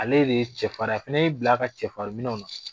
Ale de ye cɛfarin. A fana y'i bil'a ka cɛfarin minɛnw na.